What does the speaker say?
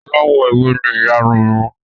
Aláwọ̀ ewé ni ìyarun uǹ mi